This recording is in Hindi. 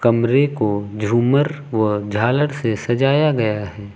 कमरे को झूमर व झालर से सजाया गया है।